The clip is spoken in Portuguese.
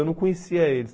Eu não conhecia eles.